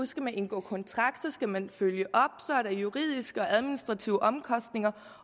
skal man indgå kontrakt så skal man følge op og juridiske og administrative omkostninger